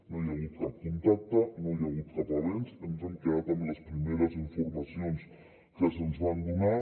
no hi ha hagut cap contacte no hi ha hagut cap avenç ens hem quedat amb les primeres informacions que se’ns van donar